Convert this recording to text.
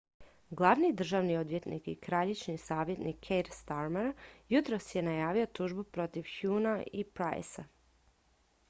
glavni državni odvjetnik i kraljičin savjetnik keir starmer jutros je najavio tužbu protiv huhnea i pryce